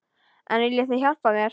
En viljið þið hjálpa mér?